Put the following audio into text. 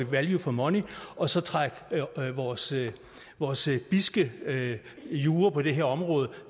value for money og så trække vores vores bidske jura på det her område